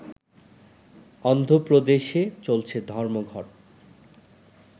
অন্ধপ্রদেশে চলছে ধর্মঘট